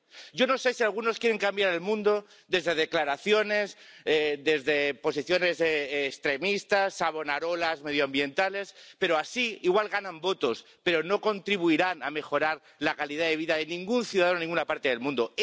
Yo no sé si algunos quieren cambiar el mundo desde declaraciones, desde posiciones extremistas, Savonarolas medioambientales, pero así igual ganan votos, pero no contribuirán a mejorar la calidad de vida de ningún ciudadano en ninguna parte del mundo.